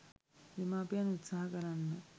දෙමාපියන් උත්සාහ කරන්න.